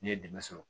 Ne ye dɛmɛ sɔrɔ